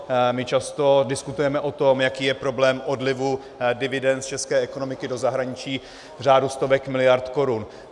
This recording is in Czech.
My často diskutujeme o tom, jaký je problém odlivu dividend z české ekonomiky do zahraničí v řádu stovek miliard korun.